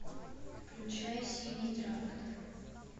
включай синий трактор